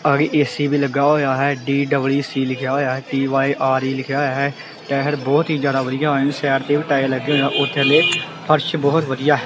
ਆੜੀ AC ਵੀ ਲੱਗਾ ਹੋਇਆ ਹੈ ਡੀ_ਡਬਲ_ਈ_ਸੀ ਲਿਖਿਆ ਹੋਇਆ ਏ ਟੀ_ਵਾਈ_ਆਰ_ਈ ਲਿਖਿਆ ਹੋਇਆ ਹੈ ਟਾਇਰ ਬਹੁਤ ਹੀ ਜਿਆਦਾ ਵਧੀਆ ਸਾਈਡ ਤੇ ਵੀ ਟਾਇਰ ਲੱਗੇ ਹੋਏ ਆ ਉਥੇ ਫਰਸ਼ ਬਹੁਤ ਵਧੀਆ ਹੈ।